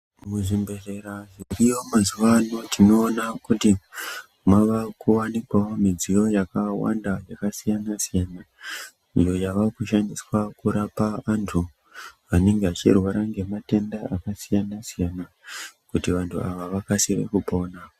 Muzvimbedhlera zviriyo mazuwaano tinoona kuti mawakuwanikwawo midziyo yakawanda yakasiyana siyana, iyo yawakushandiswa kurapa andu anenge vachirwara ngematenda akasiyana siyana kuti vanhu andu akasire kupona.